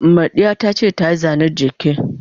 Mardiya tace ta yi Zane's giki.